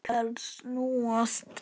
Lyklar snúast.